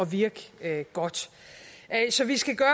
virke godt så vi skal gøre